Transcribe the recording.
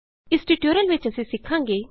ਇਸ ਟਯੂਟੋਰੀਅਲ ਵਿਚ ਅਸੀਂ ਸਿਖਾਂਗੇ